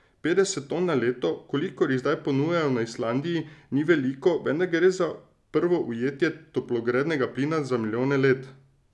Petdeset ton na leto, kolikor jih zdaj ponujajo na Islandiji, ni veliko, vendar gre za prvo ujetje toplogrednega plina za milijone let.